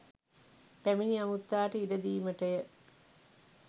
පැමිණි අමුත්තාට ඉඩ දීමට ය.